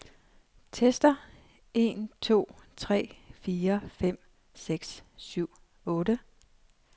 Tester en to tre fire fem seks syv otte.